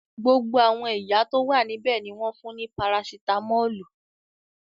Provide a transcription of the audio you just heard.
Gbogbo àwọn ìyá tó wà níbẹ̀ ni wọ́n fún ní parasitámọ́lù.